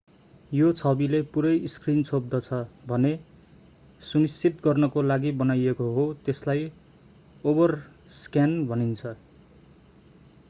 यो छविले पूरै स्क्रिन छोप्दछ भन्ने सुनिश्चित गर्नको लागि बनाइएको हो त्यसलाई ओभरस्क्यान भनिन्छ